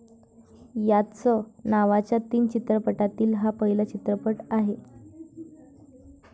याच नावाच्या तीन चित्रपटातील हा पहिला चित्रपट आहे.